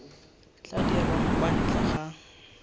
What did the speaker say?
tla dirwang kwa ntle ga